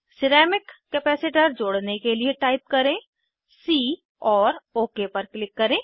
ceramic capacitor जोड़ने के लिए टाइप करें सी और ओक पर क्लिक करें